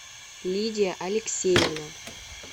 лидия алексеевна